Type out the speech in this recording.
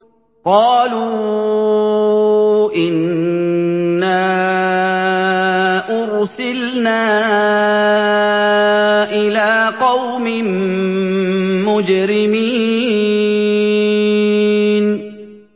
قَالُوا إِنَّا أُرْسِلْنَا إِلَىٰ قَوْمٍ مُّجْرِمِينَ